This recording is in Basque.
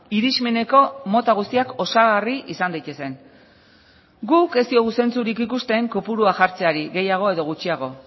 irizmeneko mota guztiak osagarri izan daitezen guk ez diogu zentzurik ikusten kopurua jartzeari gehiago edo gutxiago